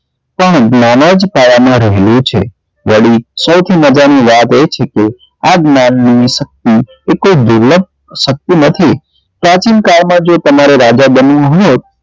પણ માં રહેલું છે વડી સૌથી મજા ની વાત એ છે કે આ જ્ઞાન ની શક્તિ એ કોઈ દુર્લભ શક્તિ નથી પ્રાચીનકાળ માં જો તમારે રાજા બનવું હોય તો